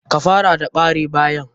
Ka fara da bare bayan.